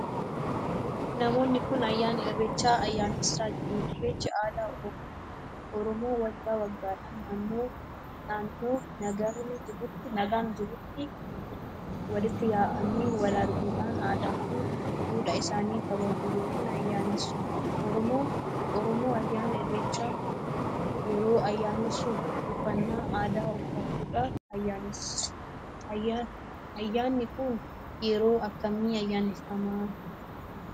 Namoonni kun ayyaana irreechaa ayyaanessaa jiru. Irreechi aadaa oromooti. oromoo waggaa waggaadhaan naannoo nagni jirutti walitti yaa'aanii Wal arguudha aadaa fi duudhaa isaanii kabajuu ykn ayyeessu. oromoo ayyaana irreechaa yeroo ayyeessu uffannaa aadaa uffachuudhaan ayyeessu. ayyaanni kun yeroo akkamii ayyaaneffama?